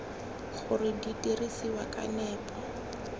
gore di dirisiwa ka nepo